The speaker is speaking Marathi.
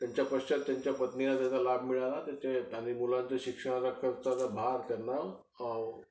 त्यांच्या पश्चात त्यांच्या पत्नीला त्याचा लाभ मिळाला. आणि त्यांच्या मुलांच्या शिक्षणाचा खर्चाचा भर त्यांना